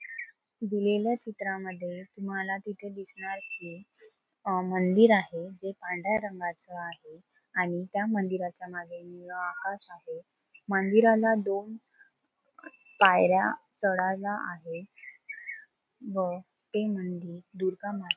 दिलेल्या चित्रामध्ये तुम्हाला तिथे दिसणार की मंदिर आहे जे पांढऱ्या रंगाच आहे आणि त्या मंदिराच्या मागे निळ आकाश आहे मंदिराला दोन पायऱ्या चढायला आहेत व ते मंदिर दुर्गा माता--